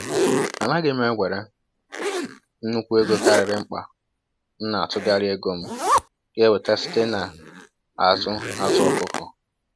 Anaghị m ewere nnukwu ego karịrị mkpa, m na-atụgharị ego m ga-enweta site na azụ azụ ọkụkọ.